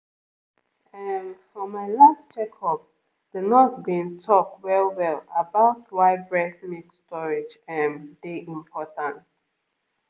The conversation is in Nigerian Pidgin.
ehm for my last checkup the nurse been talk well-well about why breast milk storage ehm dey important